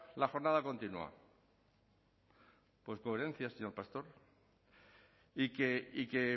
la jornada continua pues coherencia señor pastor y que